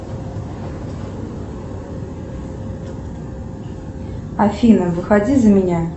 афина выходи за меня